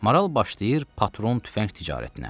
Maral başlayır patron tüfəng ticarətinə.